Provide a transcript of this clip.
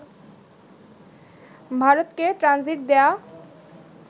ভারতকে ট্রানজিট দেয়া